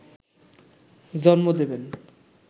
জন্ম দেবেন